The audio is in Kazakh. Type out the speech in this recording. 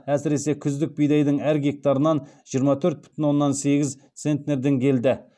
әсіресе күздік бидайдың әр гектарынан жиырма төрт бүтін оннан сегіз центнерден келді